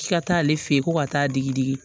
K'i ka taa ale fe yen ko ka taa digidigi